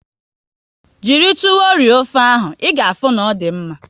Jiri tuwo rie ofe ahụ, ị ga afụ na ọ dị mma